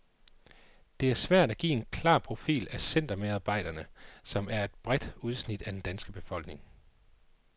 Det er svært at give en klar profil af centermedarbejderne, som er et bredt udsnit af den danske befolkning.